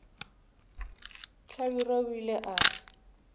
hlabirwa o ile a re